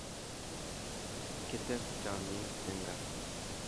Kites chomyet eng kaa